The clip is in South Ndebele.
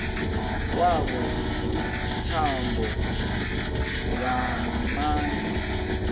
kwabo imithombo yamandla